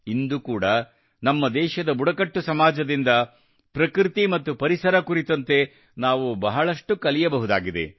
ಇಂದು ಕೂಡಾ ನಮ್ಮ ದೇಶದ ಬುಡಕಟ್ಟು ಸಮಾಜದಿಂದ ಪ್ರಕೃತಿ ಮತ್ತು ಪರಿಸರ ಕುರಿತಂತೆ ನಾವು ಬಹಳಷ್ಟು ಕಲಿಯಬಹುದಾಗಿದೆ